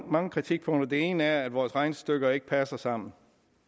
mange kritikpunkter det ene er at vores regnestykker ikke passer sammen